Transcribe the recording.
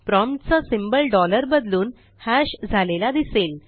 prompt चा symbol dollar बदलून hash झालेला दिसेल